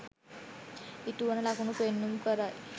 ඉටුවන ලකුණු පෙන්නුම් කරයි